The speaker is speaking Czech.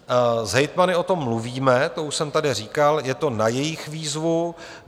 S hejtmany o tom mluvíme, to už jsem tady říkal, je to na jejich výzvu.